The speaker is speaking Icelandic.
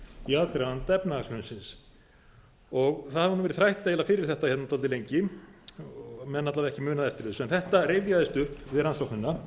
í aðdraganda efnahagshrunsins það hefur verið þrætt eiginlega fyrir þetta dálítið lengi menn alla vega ekki munað eftir þessu en þetta rifjaðist upp við rannsóknina